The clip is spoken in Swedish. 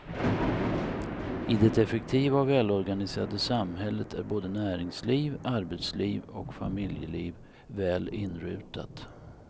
I det effektiva och välorganiserade samhället är både näringsliv, arbetsliv och familjeliv väl inrutat.